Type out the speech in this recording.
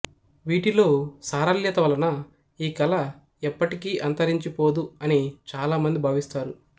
వీటిలో సారళ్యత వలన ఈ కళ ఎప్పటికీ అంతరించిపోదు అని చాలా మంది భావిస్తారు